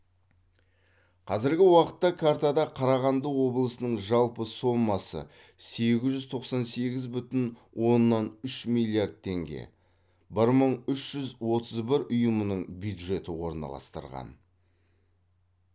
қазіргі уақытта картада қарағанды облысының жалпы сомасы сегіз жүз тоқсан сегіз бүтін оннан үш миллиард теңге бір мың үш жүз отыз бір ұйымының бюджеті орналастырылған